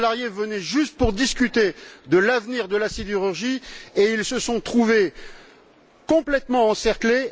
Les salariés venaient juste pour discuter de l'avenir de la sidérurgie et ils se sont trouvés complètement encerclés.